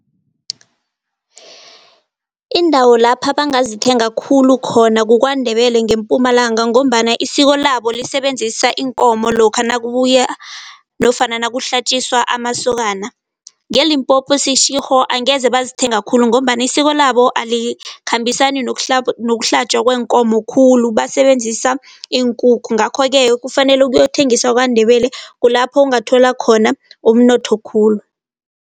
Indawo lapha bangazithenga khulu khona kukwaNdebele ngeMpumalanga ngombana isiko labo, lisebenzisana iinkomo lokha nakubuya nofana nakuhlatjiswa amasokana. Nge-Limpopo eSeshigo angeze bazithenga khulu ngombana isiko labo alikhambisani nokuhlatjwa kweenkomo khulu, basebenzisa iinkukhu. Ngakho-ke kufanele uyokuthengisa kwaNdebele kulapho ungathola khona umnotho khulu.